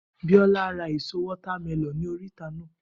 Biola ra ẹ̀so water melon ní oríta naa